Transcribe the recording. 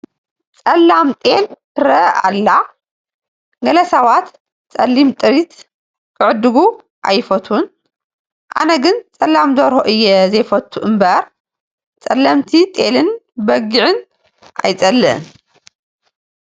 ፀላም ጤል ትርአ ኣላ፡፡ ገለ ሰባት ፀሊም ጥሪት ክዕድጉ ኣይፈትዉን፡፡ ኣነ ግን ፀላም ደርሆ እየ ዘይፈቶ እምበር ፀለምቲ ጤለ በግዕ ኣይፀልእን፡፡